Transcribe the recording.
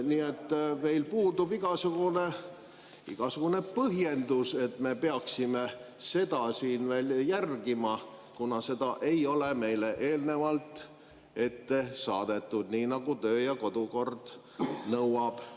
Nii et meil puudub igasugune põhjendus, et me peaksime seda siin järgima, kuna seda ei ole meile eelnevalt saadetud, nii nagu töö‑ ja kodukord nõuab.